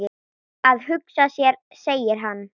Að hugsa sér segir hann.